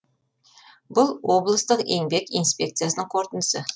бұл облыстық еңбек инспекциясының қорытындысы